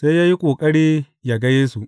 Sai ya yi ƙoƙari ya ga Yesu.